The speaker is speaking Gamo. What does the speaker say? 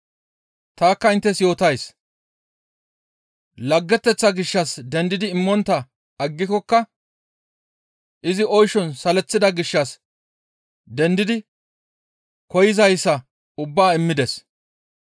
Tanikka inttes yootays; laggeteththaa gishshas dendidi immontta aggikokka izi oyshon saleththida gishshas dendidi koyzayssa ubbaa immides.